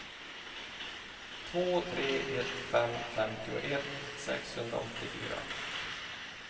två tre ett fem femtioett sexhundraåttiofyra